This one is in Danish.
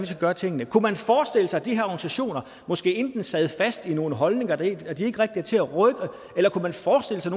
skal gøre tingene kunne man forestille sig at de her organisationer måske enten sad fast i nogle holdninger der ikke rigtig er til at rykke eller kunne man forestille sig